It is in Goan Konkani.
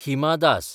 हिमा दास